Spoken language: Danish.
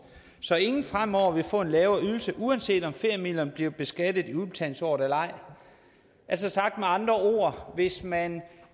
så ingen fremover vil få en lavere ydelse uanset om feriemidlerne bliver beskattet i udbetalingsåret eller ej altså sagt med andre ord hvis man